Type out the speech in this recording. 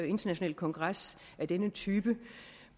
internationale kongres af denne type